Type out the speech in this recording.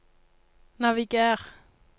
naviger